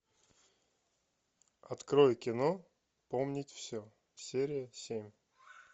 открой кино помнить все серия семь